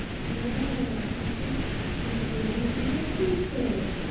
হ্যাঁ, তুই তো এ~ই রিতু বলছিস তো।